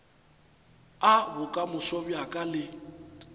a bokamoso bja ka le